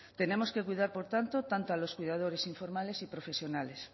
tenemos que cuidar por tanto tanto a los cuidadores informales y profesionales